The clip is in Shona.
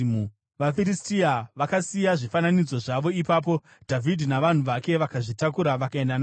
VaFiristia vakasiya zvifananidzo zvavo ipapo, Dhavhidhi navanhu vake vakazvitakura vakaenda nazvo.